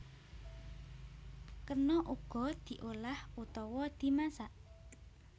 Kena uga diolah utawa dimasak